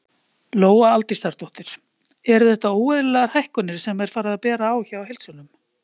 Lóa Aldísardóttir: Eru þetta óeðlilegar hækkanir sem er farið að bera á hjá heildsölum?